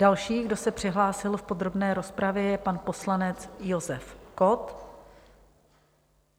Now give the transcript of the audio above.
Další, kdo se přihlásil v podrobné rozpravě, je pan poslanec Josef Kott.